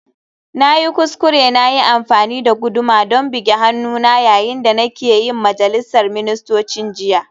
Na yi kuskure na yi amfani da guduma don bugi hannuna yayin da nake yin majalisar ministocin jiya